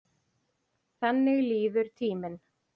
Þannig líður tíminn.